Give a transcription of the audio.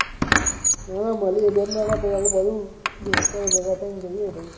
ના ના મળીએ બે ત્રણ દહાડા પછી આપડે બધા દોસ્તારો ભેગા થઈ ને જઈએ પછી